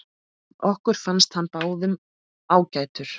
Okkur fannst hann báðum ágætur.